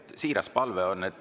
See on siiras palve.